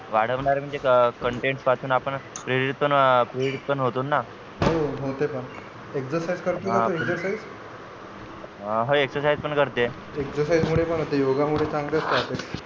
वाढवणार आहे म्हणजे constant पासून प्रेरूतणं प्रेरूतणं होते ना हो ते पण exercise करतो exercise हो exercise पण करते exercise मुळे पण होते yoga तर चांगलेच राहते.